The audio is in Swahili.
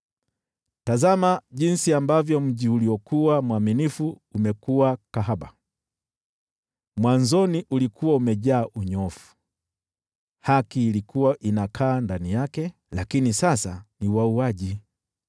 Tazama jinsi mji uliokuwa mwaminifu umekuwa kahaba! Mwanzoni ulikuwa umejaa unyofu, haki ilikuwa inakaa ndani yake, lakini sasa ni wauaji!